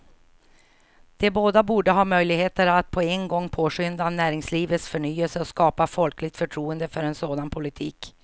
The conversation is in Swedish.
De båda borde ha möjligheter att på en gång påskynda näringslivets förnyelse och skapa folkligt förtroende för en sådan politik.